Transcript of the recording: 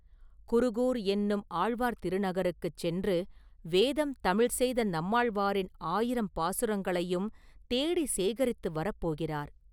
குருகூர் என்னும் ஆழ்வார் திருநகருக்குச் சென்று ‘வேதம் தமிழ் செய்த நம்மாழ்வாரின்’ ஆயிரம் பாசுரங்களையும் தேடிச் சேகரித்து வரப்போகிறார்.